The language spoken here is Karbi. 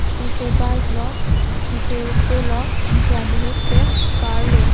isi ke bike lo isi ke auto lo anke adehek ke car lo.